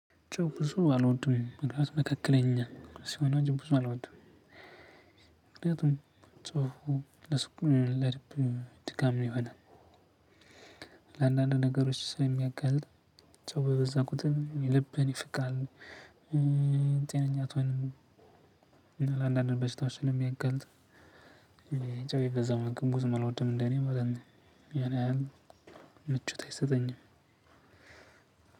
ጨው ብዙም አልወድም መካከለኛ ሲሆን ነው እንጂብዙ አልወድም። ምክንያቱም ጨው ለስኩል ለልብ ድካም ይሆናል። ለአንዳንድ ነገሮች ስለሚያጋልጥ ጨው በበዛ ቁጥር ልብን ይፍቃል። ጤነኛ አትሆንም። እና ለአንዳንድ በሽታዎች ስለሚያጋልጥ። ጨው የበዛው ምግብ ብዙም አልወድም እንደኔ ማለት ነው። ያን ምቾት አይሰጠኝም።